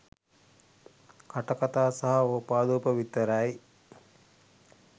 කටකතා සහ ඕපාදුප විතරයි.